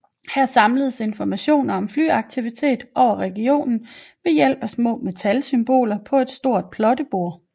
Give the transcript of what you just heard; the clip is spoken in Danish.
Her samledes informationer om flyaktivitet over regionen ved hjælp af små metalsymboler på et stort plottebord